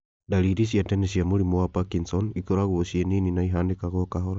Ndariri cia tene cia mũrimũ wa Parkinson ikoragwo ciĩ nini na ihanĩkaga kahora